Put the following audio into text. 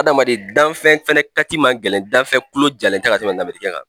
Adamaden danfɛn fɛnɛ kati man gɛlɛn danfɛn kulo jalen tɛ ka tɛmɛn lamerikɛn kan.